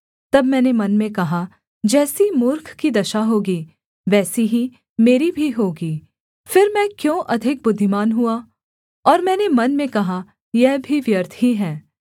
तब मैंने मन में कहा जैसी मूर्ख की दशा होगी वैसी ही मेरी भी होगी फिर मैं क्यों अधिक बुद्धिमान हुआ और मैंने मन में कहा यह भी व्यर्थ ही है